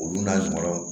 Olu la jugumanw